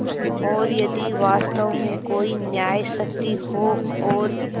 और यदि वास्तव में कोई न्यायशक्ति हो और